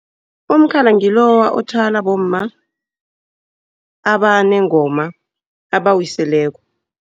Umkhala ngiloya othwalwa bomma abanengoma abawiseleko.